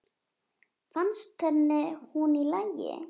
Fannst henni hún í lagi?